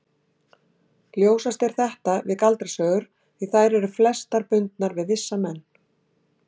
Ljósast er þetta við galdrasögur því þær eru flestar bundnar við vissa menn.